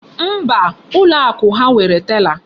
Mba, ụlọ akụ ha nwere tela.